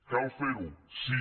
cal fer ho sí